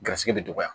Garisigɛ bi dɔgɔya